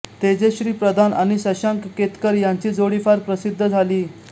तेजश्री प्रधान आणि शशांक केतकर यांची जोडी फार प्रसिद्ध झाली